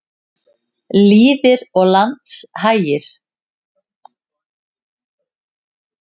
Lýðir og landshagir.